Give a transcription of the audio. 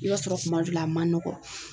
I b'a sɔrɔ kuma dɔ la a man nɔgɔn.